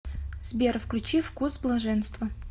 сбер включи вкус блаженства